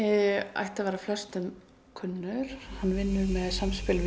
ætti að vera flestum kunnur hann vinnur með samspil